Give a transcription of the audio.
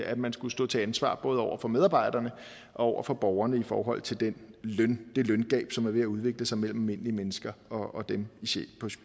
at man skulle stå til ansvar over for både medarbejderne og over for borgerne i forhold til det løngab det løngab som er ved at udvikle sig mellem almindelige mennesker og dem